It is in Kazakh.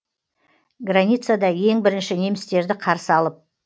границада ең бірінші немістерді қарсы алып